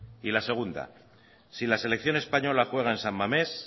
y la segunda si la selección española juega en san mamés